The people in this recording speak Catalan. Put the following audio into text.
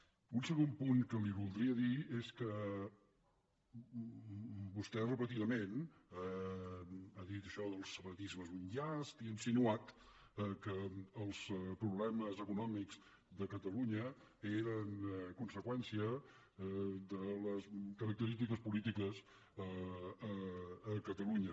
un segon punt que li voldria dir és que vostè repetidament ha dit això del separatisme és un llast i ha insinuat que els problemes econòmics de catalunya eren conseqüència de les característiques polítiques a catalunya